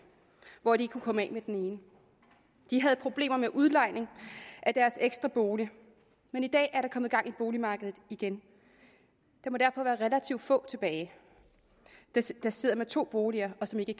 hvor de ikke kunne komme af med den ene de havde problemer med udlejning af deres ekstra bolig men i dag er der kommet gang i boligmarkedet igen der må derfor være relativt få tilbage der sidder med to boliger og som ikke